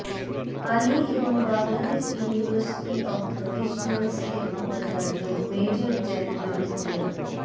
আলী এবং Bangladesh university of professionals এর উপাচার্য মেজর জেনারেল মো